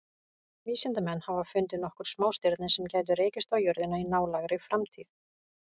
Vísindamenn hafa fundið nokkur smástirni sem gætu rekist á jörðina í nálægri framtíð.